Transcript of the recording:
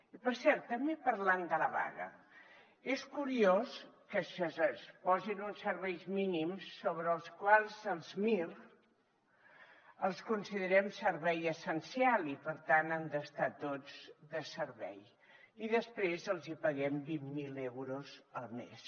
i per cert també parlant de la vaga és curiós que es posin uns serveis mínims sobre els quals els mir els considerem servei essencial i per tant han d’estar tots de servei i després els hi paguem vint mil euros al mes